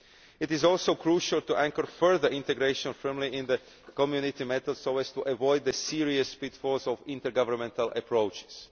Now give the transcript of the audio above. It is also crucial to anchor further integration firmly in the Community method, so as to avoid the serious pitfalls of intergovernmental approaches.